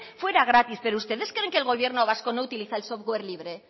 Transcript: fuera gratis pero ustedes creen que el gobierno vasco no utiliza el software libre